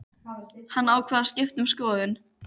Hann ákvað að skipta um skoðun.